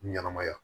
Ɲɛnɛmaya